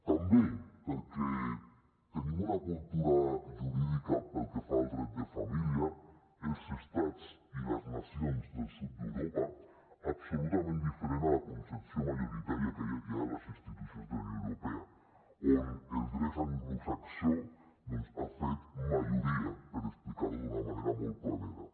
també perquè tenim una cultura jurídica pel que fa al dret de família els estats i les nacions del sud d’europa absolutament diferent a la concepció majoritària que hi ha a les institucions de la unió europea on el dret anglosaxó doncs ha fet majoria per explicar ho d’una manera molt planera